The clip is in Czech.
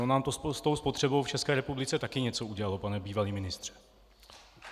Ono nám to s tou spotřebou v České republice taky něco udělalo, pane bývalý ministře.